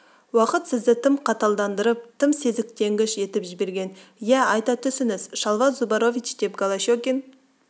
уақыт сізді тым қаталдандырып тым сезіктенгіш етіп жіберген иә айта түсіңіз шалва зубарович деп голощекин